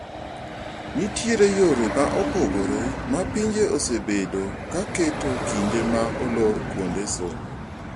Nitiere yore ma opogore ma pinje osebedo ka keto kinde ma olor kuonde somo.